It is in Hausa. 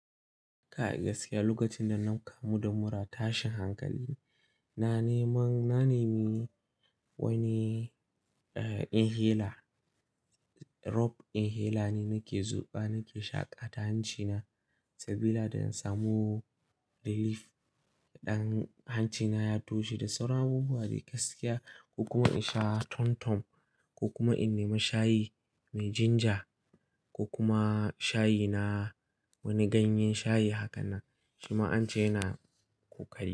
Kai gaskiya lokacin da na kamu da mura, ta shin hankali. Na neman, na nemi wani, eh, inhaler, roob inhaler ne nake zuɓa nake shaƙa ta hancina sabida da in samu relief. Ɗan hancina ya toshe da sauran abubuwa mai gaskiya ko kuma in sha tom-tom ko kuma in nema shayi mai ginger ko kuma shayina wani ganyen shayi haka na shima ance yana ƙoƙari.